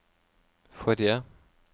forrige